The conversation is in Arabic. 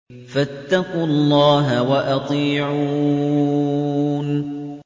فَاتَّقُوا اللَّهَ وَأَطِيعُونِ